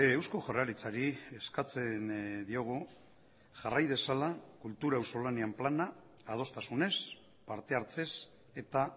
eusko jaurlaritzari eskatzen diogu jarrai dezala kultura auzolanean plana adostasunez parte hartzez eta